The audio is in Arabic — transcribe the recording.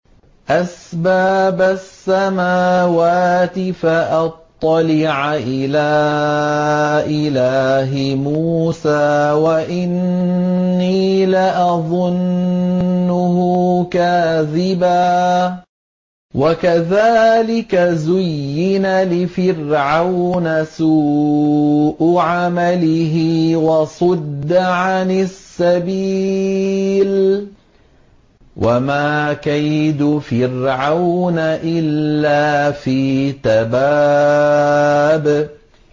أَسْبَابَ السَّمَاوَاتِ فَأَطَّلِعَ إِلَىٰ إِلَٰهِ مُوسَىٰ وَإِنِّي لَأَظُنُّهُ كَاذِبًا ۚ وَكَذَٰلِكَ زُيِّنَ لِفِرْعَوْنَ سُوءُ عَمَلِهِ وَصُدَّ عَنِ السَّبِيلِ ۚ وَمَا كَيْدُ فِرْعَوْنَ إِلَّا فِي تَبَابٍ